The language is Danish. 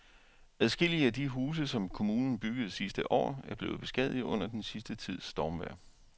Adskillige af de huse, som kommunen byggede sidste år, er blevet beskadiget under den sidste tids stormvejr.